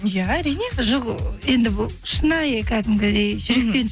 иә әрине жоқ енді бұл шынайы кәдімгідей жүректен